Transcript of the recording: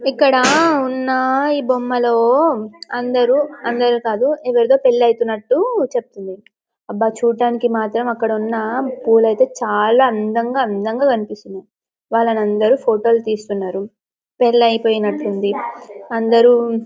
ఇక్కడ ఉన్న ఈ బొమ్మలో అందరూ అందరూ కాదు ఎవరితో పెళ్లి అవుతు న్నట్లు చెప్తుంది అబ్బా చూడటానికి మాత్రం అక్కడ ఉన్న పూలు అయితే చాలా అందంగా అందంగా కనిపిస్తుంది. వాళ్లను అందరూ ఫోటో తీస్తున్నారు పెళ్లి అయిపోయినట్లుంది అందరూ--